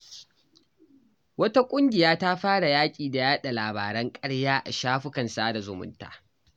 Wata ƙungiya ta fara yaƙi da yada labaran ƙarya a shafukan sada zumunta.